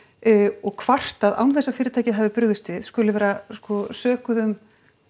og kvartað án þess að fyrirtækið hafi brugðist við skuli vera sko sökuð um